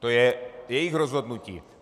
To je jejich rozhodnutí.